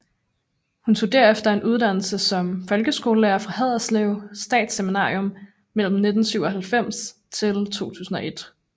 Hun tog derefter en uddannelse som folkeskolelærer fra Haderslev Statsseminarium mellem 1997 til 2001